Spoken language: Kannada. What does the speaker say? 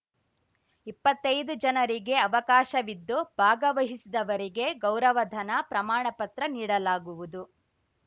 ಇಪ್ಪತ್ತೈದು ಜನರಿಗೆ ಅವಕಾಶವಿದ್ದು ಭಾಗವಹಿಸಿದವರಿಗೆ ಗೌರವಧನ ಪ್ರಮಾಣಪತ್ರ ನೀಡಲಾಗುವುದು